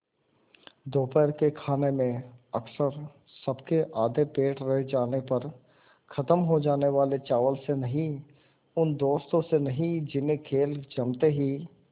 दोपहर के खाने में अक्सर सबके आधे पेट रह जाने पर ख़त्म हो जाने वाले चावल से नहीं उन दोस्तों से नहीं जिन्हें खेल जमते ही